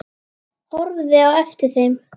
Horfði á eftir þeim.